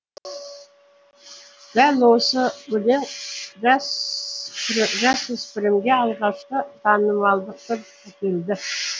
дәл осы өлең жасөспірімге алғашқы танымалдылықты әкелді